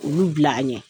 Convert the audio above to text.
Olu bila an ɲɛ